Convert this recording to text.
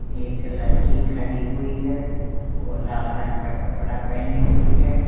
एक लड़की खरी हुई है वह लाल रंग का कपड़ा पहनी हुई है।